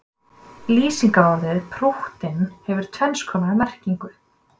lýsingarorðið prúttinn hefur tvenns konar merkingu